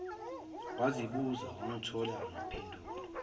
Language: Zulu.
wazibuza wangathola mpendulo